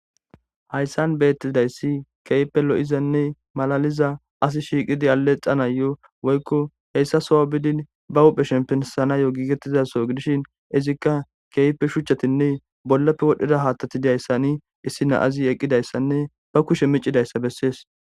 Hayssan beetidayssi kehippe lo'izanne malaliza asi shikidi aleexanayo woykko hesa soho biidin ba huphe shempanayo gigetida soho gidishin izikka kehippe shuchatinne bollappe wodhida haathati de'izayssi issi na'zi eqidayssanne ba kushe miicidayssa besees.